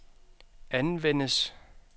anvendes